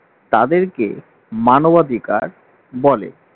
তাদেরকে মানবাধিকার বলে